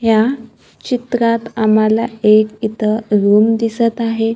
या चित्रात आम्हाला एक इथं रूम दिसतं आहे.